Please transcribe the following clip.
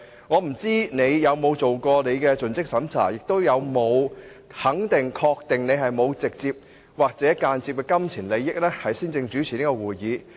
我不知道你有否作盡職審查，以及有否先肯定、確定自己沒有直接或間接的金錢利益，才主持這個會議。